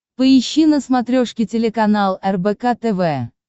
поищи на смотрешке телеканал рбк тв